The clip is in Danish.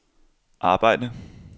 arbejde